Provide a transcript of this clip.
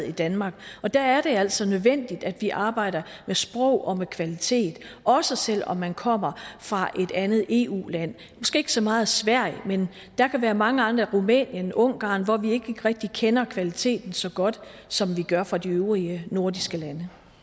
i danmark og der er det altså nødvendigt at vi arbejder med sprog og med kvalitet også selv om man kommer fra et andet eu land måske ikke så meget sverige men der kan være mange andre rumænien ungarn hvor vi ikke rigtig kender kvaliteten så godt som vi gør fra de øvrige nordiske lande